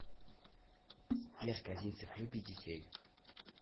сбер козинцев любит детей